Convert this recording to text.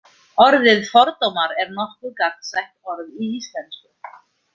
Orðið fordómar er nokkuð gagnsætt orð í íslensku.